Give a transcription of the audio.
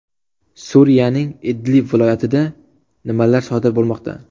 Suriyaning Idlib viloyatida nimalar sodir bo‘lmoqda?